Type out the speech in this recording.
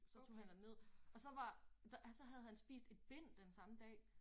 Så tog han derned og så var der så havde han spist et bind den samme dag